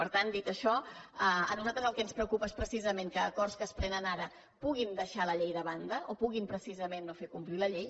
per tant dit això a nosaltres el que ens preocupa és precisament que acords que es prenen ara puguin deixar la llei de banda o puguin no fer complir la llei